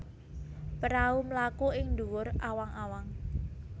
Prahu mlaku ing dhuwur awang awang